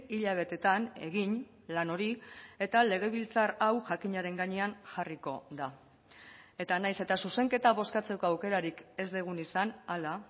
hilabetetan egin lan hori eta legebiltzar hau jakinaren gainean jarriko da eta nahiz eta zuzenketa bozkatzeko aukerarik ez dugun izan hala